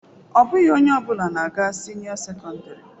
Ọ bụghị onye ọ bụla na-aga sinio secondary.